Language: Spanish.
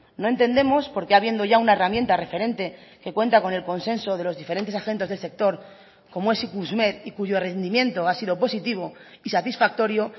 no entendemos por qué habiendo ya una herramienta referente que cuenta con el consenso de los diferentes agentes del sector como es ikusmer y cuyo rendimiento ha sido positivo y satisfactorio